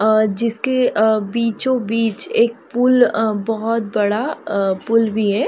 अ जिसके अ बीचो बीच एक पुल अ बहुत बड़ा अ पुल भी है।